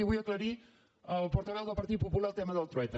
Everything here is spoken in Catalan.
i vull aclarir al portaveu del partit popular el tema del trueta